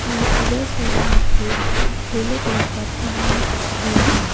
और इधर साइड में एक पीले कलर का पन्ना भी है।